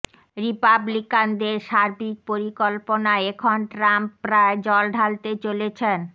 রিপাবলিকানদের সার্বিক পরিকল্পনায় এখন ট্রাম্প প্রায় জল ঢালতে চলেছেন